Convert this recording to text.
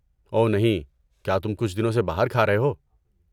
اوہ نہیں، کیا تم کچھ دنوں سے باہر کھا رہے ہو؟